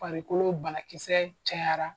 Farikolo banakisɛ cayara.